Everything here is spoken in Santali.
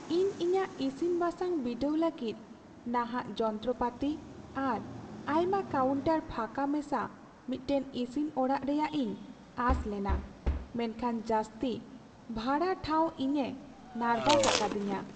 ᱤᱧ ᱤᱧᱟᱹᱜ ᱤᱥᱤᱱᱼᱵᱟᱥᱟᱝ ᱵᱤᱰᱟᱹᱣ ᱞᱟᱹᱜᱤᱫ ᱱᱟᱦᱟᱜ ᱡᱚᱱᱛᱨᱚᱯᱟᱹᱛᱤ ᱟᱨ ᱟᱭᱢᱟ ᱠᱟᱣᱩᱱᱴᱟᱨ ᱯᱷᱟᱸᱠᱟ ᱢᱮᱥᱟ ᱢᱤᱫᱴᱟᱝ ᱤᱥᱤᱱ ᱚᱲᱟᱜ ᱨᱮᱭᱟᱜ ᱤᱧ ᱟᱥ ᱞᱮᱱᱟ, ᱢᱮᱱᱠᱷᱟᱱ ᱡᱟᱹᱥᱛᱤ ᱵᱷᱲᱟ ᱴᱷᱟᱣ ᱤᱧᱮ ᱱᱟᱨᱵᱷᱟᱥ ᱟᱠᱟᱫᱤᱧᱟᱹ ᱾